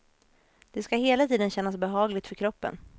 Det skall hela tiden kännas behagligt för kroppen.